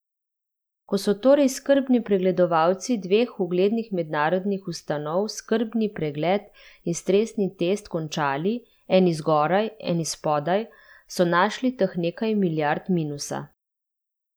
Ko so torej skrbni pregledovalci dveh uglednih mednarodnih ustanov skrbni pregled in stresni test končali, eni zgoraj, eni spodaj, so našli teh nekaj milijard minusa.